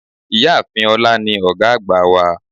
Ìyáàfin olá ní ògá àgbà wa